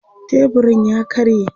teburun ya karye